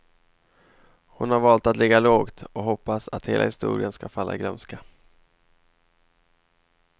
Hon har valt att ligga lågt och hoppas att hela historien ska falla i glömska.